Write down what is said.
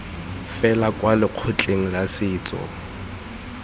fela kwa lekgotleng la setso